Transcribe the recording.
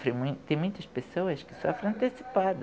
Tem muitas pessoas que sofrem antecipado.